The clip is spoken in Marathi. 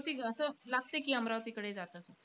पण अमरावती असं लागते की, अमरावतीकडे जात आहे असं.